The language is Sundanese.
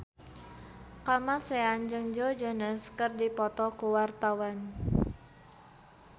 Kamasean jeung Joe Jonas keur dipoto ku wartawan